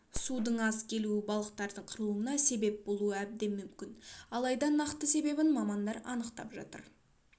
судың аз келуі балықтардың қырылуына себеп болуы әбден мүмкін алайда нақты себебін мамандар анықтап жатыр